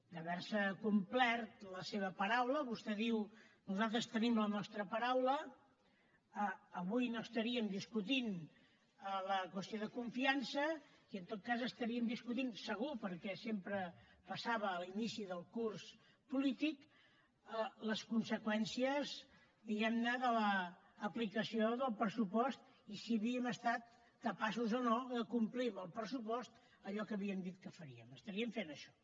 d’haver complert la seva paraula vostè diu nosaltres tenim la nostra paraula avui no estaríem discutint la qüestió de confiança i en tot cas estaríem discutint segur perquè sempre passava a l’inici del curs polític les conseqüències diguem ne de l’aplicació del pressupost i si havíem estat capaços o no de complir amb el pressupost allò que havíem dit que faríem estaríem fent això